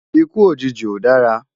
Ikú ójiji ó dárá